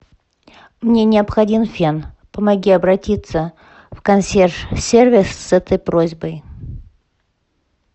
мне необходим фен помоги обратиться в консьерж сервис с этой просьбой